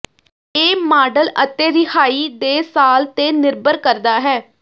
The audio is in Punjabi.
ਇਹ ਮਾਡਲ ਅਤੇ ਰਿਹਾਈ ਦੇ ਸਾਲ ਤੇ ਨਿਰਭਰ ਕਰਦਾ ਹੈ